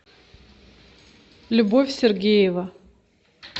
любовь сергеева